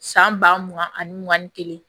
San ba mugan ani mugan ni kelen